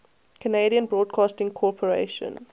canadian broadcasting corporation